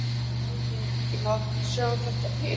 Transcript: En hefði ekki mátt sjá þetta fyrir?